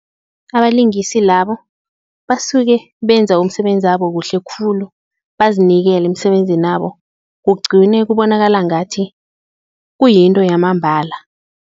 Abalingisi labo basuke benza umsebenzi wabo kuhle khulu bazinikele emisebenzinabo kugcine kubonakala ngathi kuyinto yamambala.